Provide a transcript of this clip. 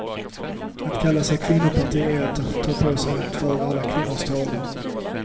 Att kalla sig kvinnoparti är att ta på sig att föra alla kvinnors talan.